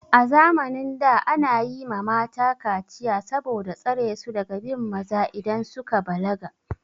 A zamanin da ana yi ma mata kaciya saboda tsare su daga bin maza idan suka balaga.